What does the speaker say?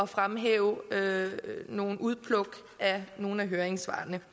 fremhæve nogle udpluk af nogle af høringssvarene